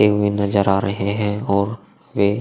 penguin नजर आ रहे हैं ओर वे --